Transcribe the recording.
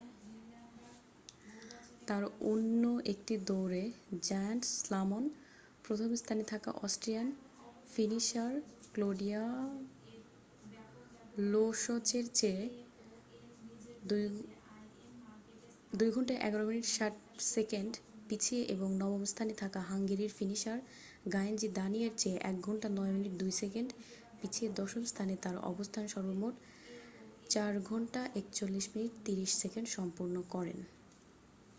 তার অন্য একটি দৌঁড়ে জায়ান্ট স্লালম প্রথম স্থানে থাকা অস্ট্রিয়ান ফিনিশার ক্লোডিয়া লোশচের চেয়ে 2:11.60 মিনিট পিছিয়ে এবং নবম স্থানে থাকা হাঙ্গেরির ফিনিশার গায়ঞ্জি দানি এর চেয়ে 1:09.02 মিনিটে পিছিয়ে দশম স্থানে তার অবস্থান সর্বমোট 4:41.30 মিনিটে সম্পন্ন করেন।